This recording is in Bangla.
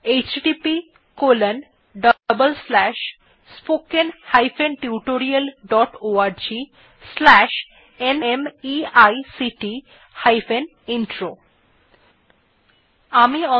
httpspoken tutorialorgNMEICT Intro আমি অন্তরা এই টিউটোরিয়াল টি অনুবাদ এবং রেকর্ড করেছি